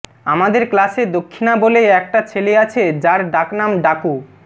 আমাদের ক্লাসে দক্ষিণা বলে একটা ছেলে আছে যার ডাকনাম ডাকু